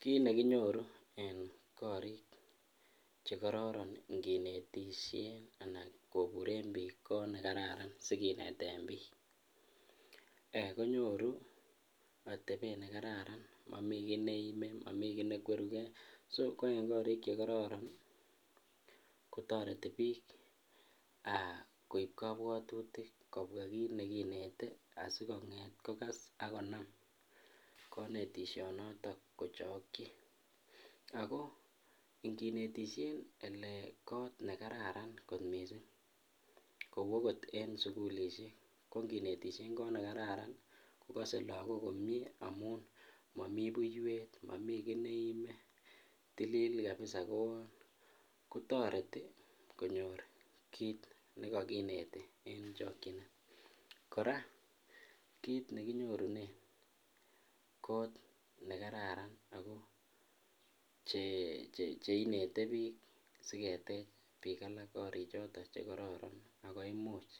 Kiit nekinyoru en korik chekororon inginetishen anan koburen biik koot nekararan sikineten biik konyoru atebet nekararan momii kii neime, momii kii nekweruke, so koii ko koriik chekororon kotoreti biik koib kobwotutik kobwa kiit nekinete asikonget kokas ak konam konetishonoton kochokyi ak ko inginetishen elee koot nekararan kot mising kou okot en sukulishek ko nginetishen koot nekararan kokose lokok komnye amun momii buiwet, momii kii neime tilil kabisa kotoreti konyor kiit nekokinete en chokyinet, kora kiit nekinyorunen ko nekararan ak ko cheinete biik siketech biik alak korichoton chekororon ak ko imuch